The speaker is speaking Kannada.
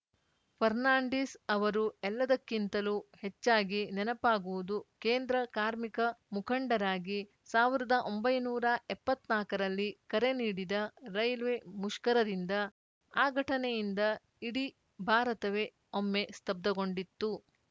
ಫರ್ನಾಂಡಿಸ್‌ ಅವರು ಎಲ್ಲದಕ್ಕಿಂತಲೂ ಹೆಚ್ಚಾಗಿ ನೆನಪಾಗುವುದು ಕೇಂದ್ರ ಕಾರ್ಮಿಕ ಮುಖಂಡರಾಗಿ ಸಾವಿರದ ಒಂಬೈನೂರ ಎಪ್ಪತ್ ನಾಕರಲ್ಲಿ ಕರೆ ನೀಡಿದ ರೈಲ್ವೆ ಮುಷ್ಕರದಿಂದ ಆ ಘಟನೆಯಿಂದ ಇಡೀ ಭಾರತವೇ ಒಮ್ಮೆ ಸ್ತಬ್ಧಗೊಂಡಿತ್ತು